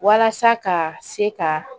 Walasa ka se ka